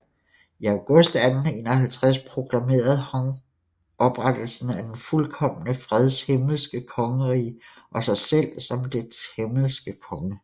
I august 1851 proklamerede Hong oprettelsen af Den fuldkomne freds himmelske kongerige og sig selv som dets himmelske konge